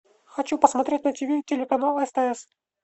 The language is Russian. хочу посмотреть на ти ви телеканал стс